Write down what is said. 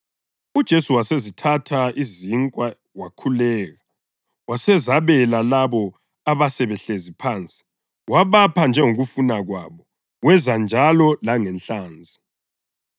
UJesu wasezithatha izinkwa, wakhuleka, wasezabela labo abasebehlezi phansi, wabapha njengokufuna kwabo. Wenza njalo langenhlanzi.